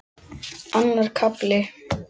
Annar kafli